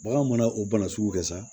Baganw mana o bana sugu kɛ sa